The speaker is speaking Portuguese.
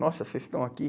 Nossa, vocês estão aqui?